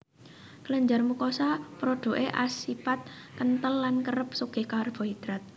Kelenjar mukosa prodhuké asipat kenthel lan kerep sugih karbohidrat